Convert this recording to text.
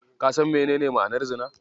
Ka san menene ma'anar Zina?